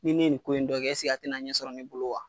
Ni ne ye nin ko in dɔ kɛ ɛseke a tɛna ɲɛ sɔrɔ ne bolo wa?